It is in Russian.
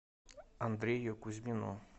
андрею кузьмину